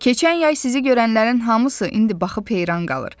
Keçən yay sizi görənlərin hamısı indi baxıb heyran qalır.